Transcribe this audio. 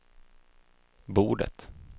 bordet